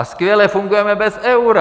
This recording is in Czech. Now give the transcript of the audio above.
A skvěle fungujeme bez eura.